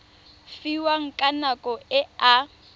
fiwang ka nako e a